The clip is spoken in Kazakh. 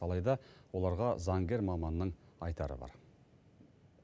алайда оларға заңгер маманның айтары бар